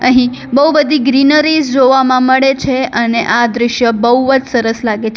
અહીઁ બહુ બધી ગ્રીનરીઝ જોવામાં મળે છે અને આ દ્રશ્ય બહુ જ સરસ લાગે છે.